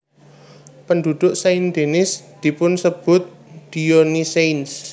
Penduduk Saint Denis dipunsebut Dionysiens